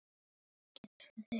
Þá er elsku afi farinn.